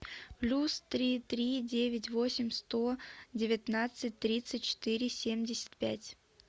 плюс три три девять восемь сто девятнадцать тридцать четыре семьдесят пять